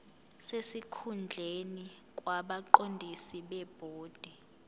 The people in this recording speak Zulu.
sesikhundleni kwabaqondisi bebhodi